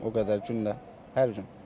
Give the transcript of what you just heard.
O qədər gündə hər gün.